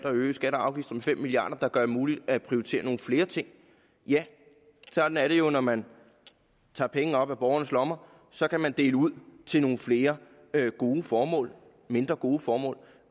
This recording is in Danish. at øge skatter og afgifter med fem milliard kr der gør det muligt at prioritere nogle flere ting ja sådan er det jo når man tager penge op af borgernes lommer så kan man dele ud til nogle flere gode formål mindre gode formål